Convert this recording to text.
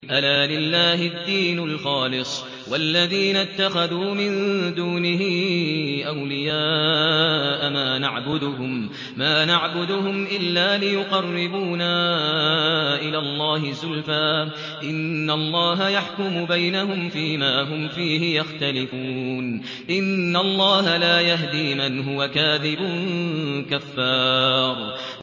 أَلَا لِلَّهِ الدِّينُ الْخَالِصُ ۚ وَالَّذِينَ اتَّخَذُوا مِن دُونِهِ أَوْلِيَاءَ مَا نَعْبُدُهُمْ إِلَّا لِيُقَرِّبُونَا إِلَى اللَّهِ زُلْفَىٰ إِنَّ اللَّهَ يَحْكُمُ بَيْنَهُمْ فِي مَا هُمْ فِيهِ يَخْتَلِفُونَ ۗ إِنَّ اللَّهَ لَا يَهْدِي مَنْ هُوَ كَاذِبٌ كَفَّارٌ